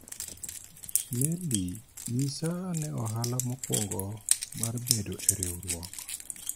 Neli ,nyisa ane ohala mokwongo mar bedo e riwruok